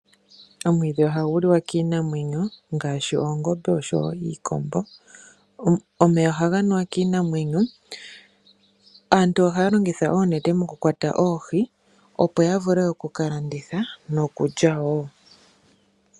Omwiidhi ohagu liwa kiinamwenyo ngaashi oongombe oshowo iikombo. Omeya ohaga nuwa kiinamwenyo. Aantu ohaya longitha oonete mokukwata oohi opo ya vule oku ka landitha nokulya wo.